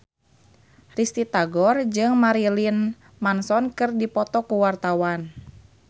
Risty Tagor jeung Marilyn Manson keur dipoto ku wartawan